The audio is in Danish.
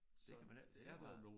Det kan man ikke det var